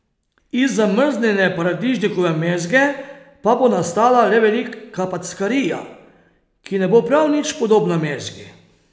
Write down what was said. Iz zamrznjene paradižnikove mezge pa bo nastala le velika packarija, ki ne bo prav nič podobna mezgi.